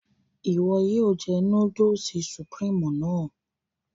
Iwọ yóò jẹ núdùlsì Sùpríímù náà